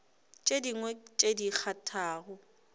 tše dingwe tše di kgathago